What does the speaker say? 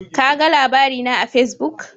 Kaga labari na a Fesbuk?